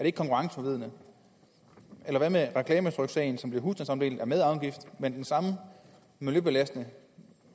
ikke konkurrenceforvridende eller hvad med reklametryksagen som bliver husstandsomdelt den er med afgift men den samme miljøbelastende